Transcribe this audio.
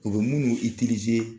O bɛ minnu'